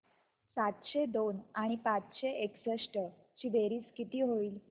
सातशे दोन आणि पाचशे एकसष्ट ची बेरीज किती होईल